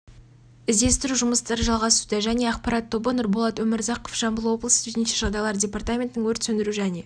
іздестіру жұмыстары жалғасуда және ақпарат тобы нұрболат өмірзақов жамбыл облысы төтенше жағдайлар департаментінің өрт сөндіру және